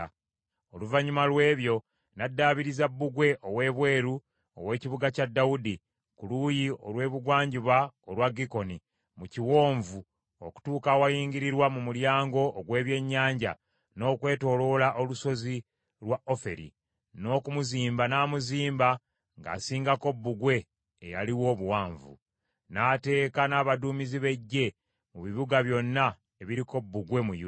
Oluvannyuma lw’ebyo n’addaabiriza bbugwe ow’ebweru ow’ekibuga kya Dawudi, ku luuyi olw’ebugwanjuba olwa Gikoni, mu kiwonvu, okutuuka awayingirirwa mu Mulyango ogw’Ebyennyanja, n’okwetooloola olusozi lwa Oferi, n’okumuzimba n’amuzimba ng’asingako bbugwe eyaliwo obuwanvu. N’ateeka n’abaduumizi b’eggye mu bibuga byonna ebiriko bbugwe mu Yuda.